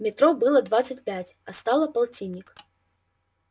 метро было двадцать пять а стало полтинник